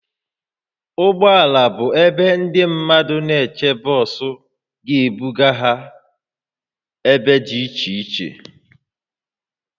Ụgbọ ala bụ ebe ndị mmadụ na-eche bọs ga-ebuga ha ebe dị iche iche